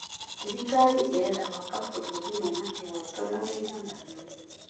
Thirikari ĩrenda gwaka bũrũri wĩna kĩhooto na ũigananu.